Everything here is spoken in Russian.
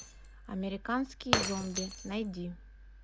американские зомби найди